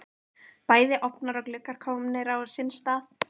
Bæði ofnar og gluggar komnir á sinn stað.